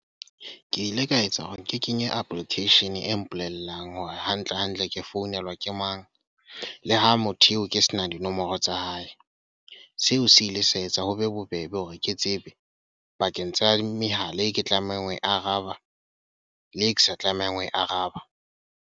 Ke ile ka etsa hore ke kenye application e mpolellang hore hantle-hantle ke founelwa ke mang. Le ha motho eo ke sena dinomoro tsa hae. Seo se ile sa etsa hore ho be bobebe hore ke tsebe, pakeng tsa mehala eo ke tlamehang ho e araba, le eo kesa tlamehang ho e araba.